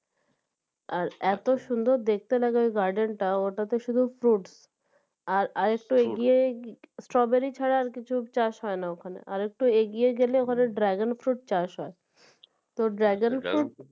আর এত সুন্দর দেখতে লাগে ঐ Garden টা ওটাতে শুধু fruit আর আরেকটু এগিয়ে strawberry ছাড়া কিছু চাষ হয়না ওখানে আরেকটু এগিয়ে গেলে ওখানে Dragon Fruit চাষ হয় তো Dragon Fruit